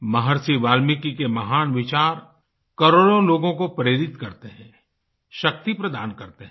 महर्षि वाल्मीकि के महान विचार करोड़ों लोगों को प्रेरित करते हैं शक्ति प्रदान करते हैं